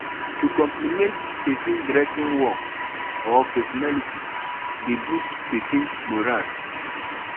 to compliment persin dressing work or personality de boost persin morale